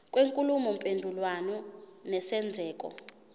kwenkulumo mpendulwano nesenzeko